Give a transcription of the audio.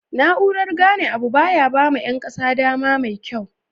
na urar gane Abu baya bama Yan kasan dama mekyau